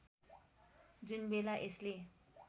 जुन बेला यसले